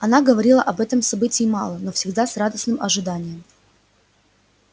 она говорила об этом событии мало но всегда с радостным ожиданием